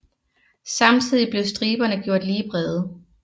Samtidig blev striberne gjort lige brede